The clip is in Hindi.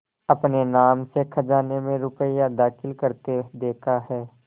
अपने नाम से खजाने में रुपया दाखिल करते देखा है